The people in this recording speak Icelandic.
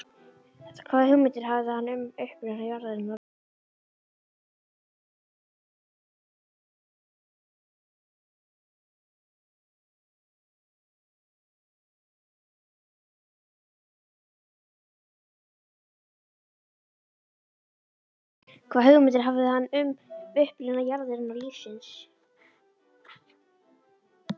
Hvaða hugmyndir hafði hann um uppruna jarðarinnar og lífsins?